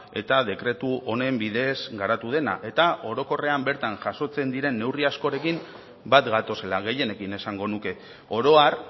eta dekretu honen bidez garatu dena eta orokorrean bertan jasotzen diren neurri askorekin bat gatozela gehienekin esango nuke oro har